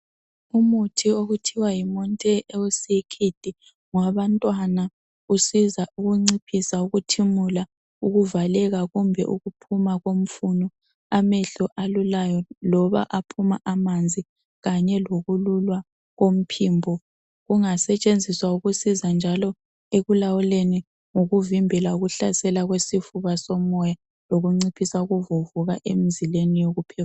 Umuthi okuthiwa yimontair LC Kid ngowabantwana usiza ukunciphisa ukuthimula, ukuvaleka kumbe ukuphuma komfuno amehlo alulayo loba aphuma amanzi kanye lokululwa komphimbo ungasetshenziswa lokusiza njalo ekulawuleni ukuvimbela ukuhlasela kwesifuba somoya lokunciphisa ukuvuvuka emzimbeni yokuphefumula